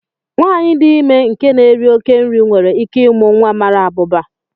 Nwanyị dị ime nke na-éri oké nri nwere íké ịmụ nwa mara abụba